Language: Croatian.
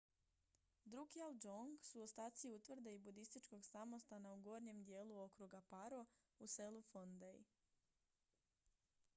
drukgyal dzong su ostaci utvrde i budističkog samostana u gornjem dijelu okruga paro u selu phondey